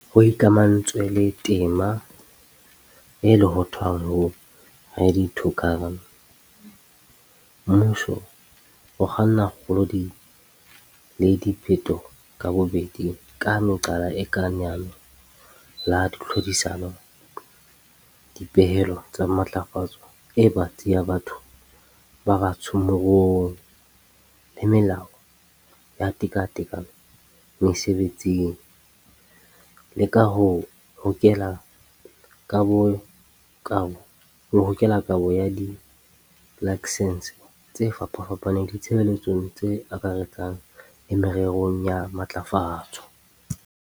Ho ikamahantswe le tema e lohothwang ho 'Ready to Govern', mmuso o kganna kgolo le diphetoho ka bobedi ka meqala e kang leano la tlhodisano, dipehelo tsa matlafatso e batsi ya batho ba batsho moruong, BBBEE, le melao ya tekatekano mesebetsing, le ka ho hokela kabo ya dilaksense tse fapafapaneng ditshebeletsong tse akaretsang le mererong ya matlafatso.